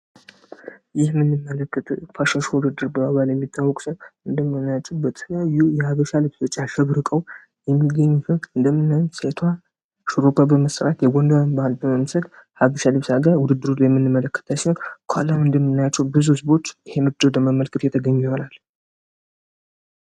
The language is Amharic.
ይህ የምንመለከተዉ ፋሽን ሾዉ ዉድድር በመባል የሚታወቅ ሲሆን እንደምናያቸዉ በተለያዩ የሀበሻ ልብሶች አሸብርቀዉ የሚገኙበት እንደምናየዉ ሴቷ ሹሩባ በመሰራት የጎንደርን ባህል በመምሰል ሀበሻ ልብስ አርጋ ዉድድር ላይ የምንመለከታት ሲሆን ከኋላ እንደምናያቸዉ ብዙ ህዝቦች ይሄንን ዉድድር ለማየት የምንመለከታቸዉ ይሆናል።